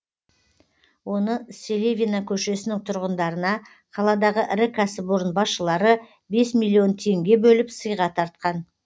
оны селевина көшесінің тұрғындарына қаладағы ірі кәсіпорын басшылары бес миллион теңге бөліп сыйға тартқан